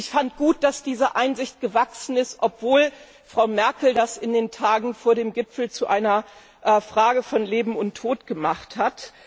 Ich fand gut, dass diese Einsicht gewachsen ist, obwohl Frau Merkel das in den Tagen vor dem Gipfel zu einer Frage von Leben und Tod gemacht hat.